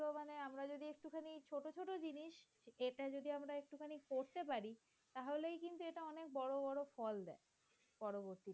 এটা যদি আমরা একটুখানি করতে পারি। তাহলে কিন্তু এটা অনেক বড় ফল দেয় পরবর্তীতে।